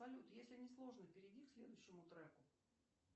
салют если не сложно перейди к следующему треку